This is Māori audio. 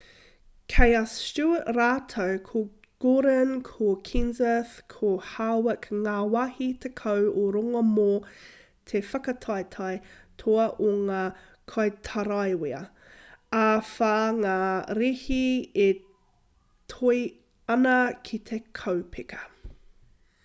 kei a stewart rātou ko gordon ko kenseth ko harvick ngā wāhi tekau o runga mō te whakataetae toa o ngā kaitaraiwa ā e whā ngā rēhi e toe ana ki te kaupeka